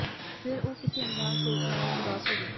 ਫੇਰ ਉਹ ਕਿਸੇ ਅਣਜਾਣ ਸੋਚ ਨਾਲ ਉਦਾਸ ਹੋ ਗਿਆ